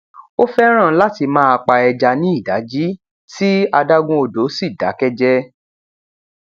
ó fẹràn láti máa pa ẹja ní ìdajì tí adágún odò sì dákẹjẹ